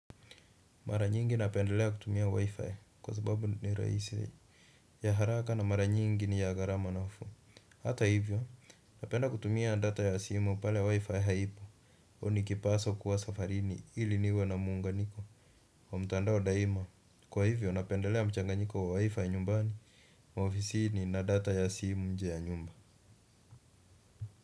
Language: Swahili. Mara nyingi napendelea kutumia Wi-Fi kwa sababu ni rahisi, ya haraka, na mara nyingi ni ya gharama nafuu. Hata hivyo, napenda kutumia data ya simu pale Wi-Fi haipo. Nikipaswa kuwa safarini ili niwe na muunganiko wa mtandao daima. Kwa hivyo, napendelea mchanganyiko wa Wi-Fi nyumbani na ofisini na data ya simu nje ya nyumba.